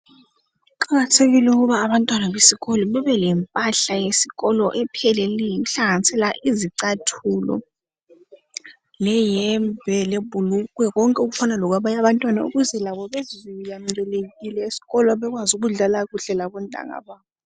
Kuqakathekile ukuthi abantwana besikolo babe lempahla yesikolo epheleleyo, okuhlanganisela izicathulo, leyembe, lebhulugwe, konke okufanana lokwabanye abantwana ukuze labo bezizwe bemukelekile esikolo bakwazi ukudlala kuhle labontanga babo